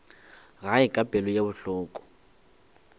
gae ka pelo ye bohloko